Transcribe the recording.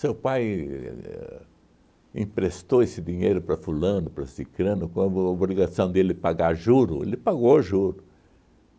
Seu pai éh emprestou esse dinheiro para fulano, para cicrano, com o obrigação dele pagar juro, ele pagou juro